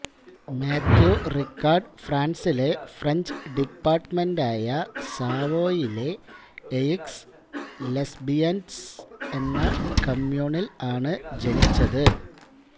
Mathew Ricard ഫ്രാൻസിലെ French ഡിപ്പാർട്ട്മെന്റായ സാവോയിലെ എയിക്സ് ലെസ്ബെയിൻസ് എന്ന കമ്യൂണിൽ ആണ് ജനിച്ചത്